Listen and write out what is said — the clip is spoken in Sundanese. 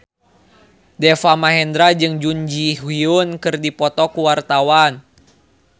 Deva Mahendra jeung Jun Ji Hyun keur dipoto ku wartawan